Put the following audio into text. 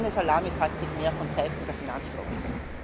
Keine Salamitaktik mehr von Seiten der Finanzlobbys!